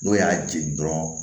N'o y'a jeni dɔrɔn